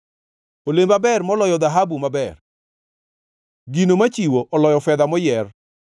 Olemba ber moloyo dhahabu maber, gino machiwo oloyo fedha moyier.